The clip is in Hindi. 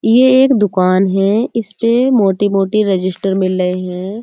ये एक दुकान है। इसपे मोटी-मोटी रजिस्टर मिल रहे हैं।